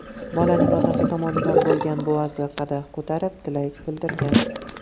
Bolaning otasi tomondan bo‘lgan buvasi qadah ko‘tarib tilak bildirgan.